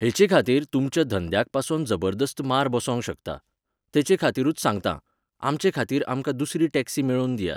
हेचेखातीर तुमच्या धंद्याक पासोन जबरदस्त मार बसोंक शकता. तेचेखातीरूच सांगतां, आमचे खातीर आमकां दुसरी टॅक्सी मेळोवन दियात